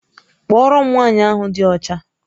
Kpọọrọ m nwaanyị ahụ dị ọcha!